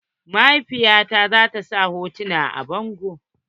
Mahaifiya ta zata sa wasu hotuna a bango.